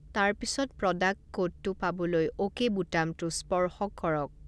তাৰ পিছত, প্ৰডাক্ট কোডটো পাবলৈ অ'কে বুটামটো স্পৰ্শ কৰক।